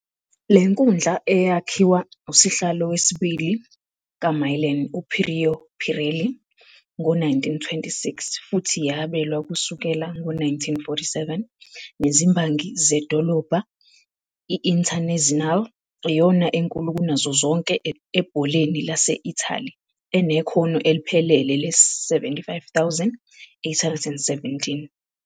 Le nkundla, eyakhiwa usihlalo wesibili kaMilan uPireo Pirelli ngo-1926 futhi yabelwa kusukela ngo-1947 nezimbangi zedolobha i-Internazionale., iyona enkulu kunazo zonke ebholeni lase-Italy, enekhono eliphelele le-75,817.